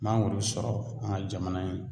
Mangoro sɔrɔ an ka jamana in